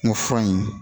N ko fura in